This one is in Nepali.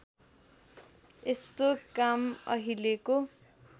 यस्तो काम अहिलेको